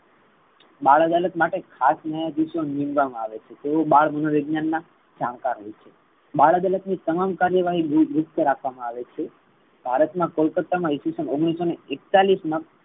બાળ અદાલત માટે ખાસ ન્યાયાધીશો નીમવા માં આવે છે તેઓ બાળ મનો વિજ્ઞાન ના જાણકાર હોઈ છે. બાળ અદાલત ની તમામ કરેવાહ રાખવામા આવે છે. ભારત ના કલકતા મા ઈસ્વીસન એકતાલીસ મા